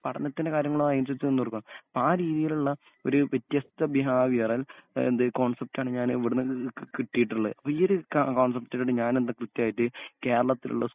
പഠനത്തിൻ്റെ കാര്യങ്ങളോപ്പാരീതീലുള്ള ഒര് വ്യത്യസ്ത ബിഹാവിയറൽ എഹ് എന്ത് കോൺസെപ്റ്റാണെങ്കി അങ്ങനെ ഇവിടന്ന് ക് ക് കിട്ടീട്ട്ള്ളേ അപ്പ ഈയൊരു കോൺസെപ്റ്റുകളി ഞാനെന്ത് കൃത്യായിട്ട് കേരളത്തിലുള്ള